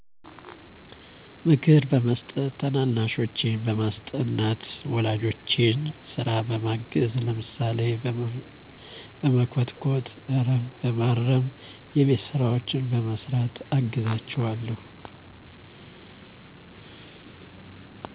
ምክር በመስጠት ታናናሾቼን በማስጠናት ወላጆቼን ስራ በማገዝ ለምሳሌ በመኮትኮት አረም በማረም የቤት ስራዎችን በመስራት አግዛቸዋለሁ